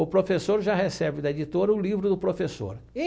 O professor já recebe da editora um livro do professor e.